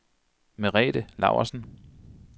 Merete Laursen